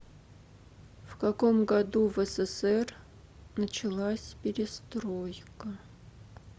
в каком году в ссср началась перестройка